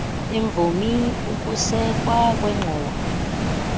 eemvumi ukusekwa kwengxowa